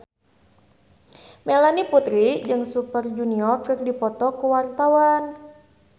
Melanie Putri jeung Super Junior keur dipoto ku wartawan